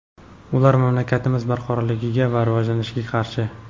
ular mamlakatimiz barqarorligi va rivojlanishiga qarshi.